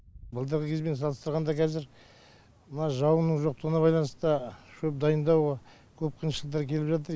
былтырғы кезбен салыстырғанда қазір мына жауынның жоқтығына байланысты шөп дайындау көп қиыншылықтар келіп жатыр